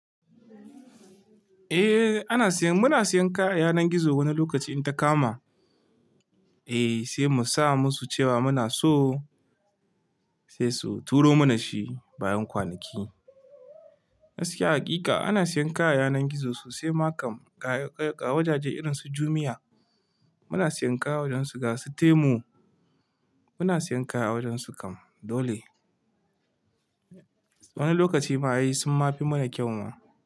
Eh ana siyan, muna siyan kayan yanar gizo wani lokaci in ta kama. Eh sai mu sa musu cewa muna so sai su turo mana shi bayan kwanaki. Gaskiya hakika ana siyan kaya a yanar gizo, sosai ma kam a wajaje irinsu jumia muna siyen kaya awajensu ga su temu, muna siyan kaya a wajensu kam dole wani lokachi ma ai summafi yi mana kyau ma.